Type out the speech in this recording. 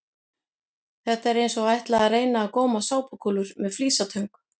Þetta er eins og að ætla að reyna að góma sápukúlur með flísatöng!